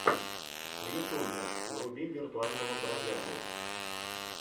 в ютубе вруби виртуального бродягу